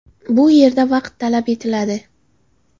Bu yerda vaqt talab etiladi.